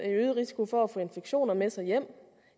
en øget risiko for at få infektioner med sig hjem